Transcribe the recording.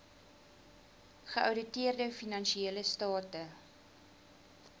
geouditeerde finansiële state